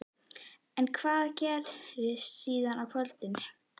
En hvað gerist síðan í kvöld?